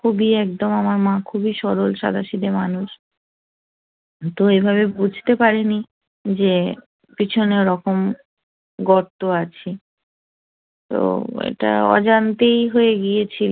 খুবই একদম আমার মা খুবই সরল সাদাসিধা মানুষ তো এভাবে বুঝতে পারিনি যে পিছনে ওরকম গর্ত আছে এটা অজান্তেই হয়ে গিয়েছে